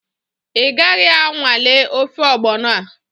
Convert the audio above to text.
Ị gaghị anwale ofe ọgbọnọ a?